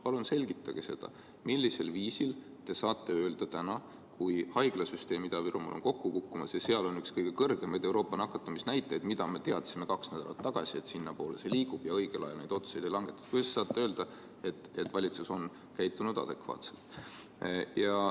Palun selgitage, millisel viisil te saate öelda täna, kui haiglasüsteem Ida-Virumaal on kokku kukkumas ja seal on Euroopa üks kõige kõrgemaid nakatumisnäitajaid – me teadsime kaks nädalat tagasi, et sinnapoole see asi liigub, aga õigel ajal neid otsuseid ei langetatud –, et valitsus on käitunud adekvaatselt.